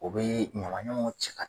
O bɛ ɲamaɲamanw cɛ ka